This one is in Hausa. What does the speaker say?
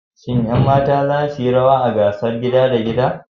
Shin ƴan mata za su yi rawa a wasan gasar gida da gida?